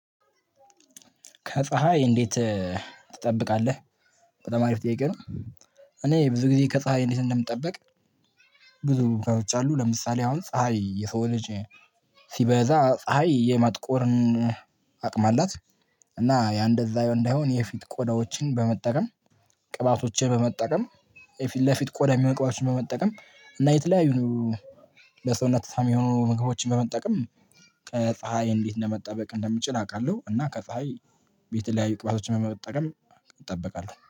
ከፀሀይ እንዴት? ትጠብቃለህ በጣማ አሪፍ ጥያቄ ነው። እኔ ብዙ ጊዜ ከፀሀይ እንዴት እንደምጠብቅ። ብዙ ገኖች አሉ ለምሳሌ አሁን ፀሀይ የሰው ልጅ ሲበዛ ፀሀይ የማጥቆርን አቅም አላት። እና ያ እንደዛ እንደሆነ የፊት ቆዳዎችን በመጠቀም ቅባቶችን በመጠቀም ለፊት ቆዳ የሚመቅባቶችን በመጠቀም እና የተለያዩ ለሰውነት ተስማሚ የሆኑ ምግቦችን በመጠቀም ከፀሀይ እንዴት እንደመጠበቅ እንደምችል አውቃለሁ። እና ከፀሀይ ቤት ላይ ይቅባቶችን መጠቀም እጠበቃለሁ